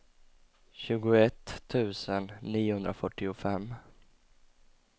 tjugoett tusen niohundrafyrtiofem